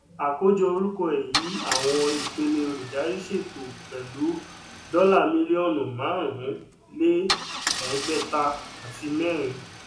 àkójọ orúkọ èyí àwọn ìpele olùdarí ṣètò pẹlú dọlà mílíọnù márùn-ún lé ẹgbẹta àti mẹrin